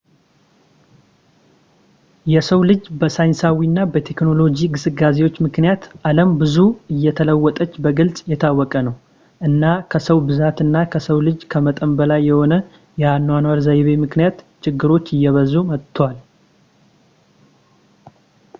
የሰው ልጅ በሳይንሳዊ እና በቴክኖሎጂ ግስጋሴዎች ምክንያት ዓለም ብዙ እንደተለወጠች በግልፅ የታወቀ ነው ፣ እና ከሰው ብዛት እና ከሰው ልጅ ከመጠን በላይ በሆነ የአኗኗር ዘይቤ ምክንያት ችግሮች እየበዙ መጥተዋል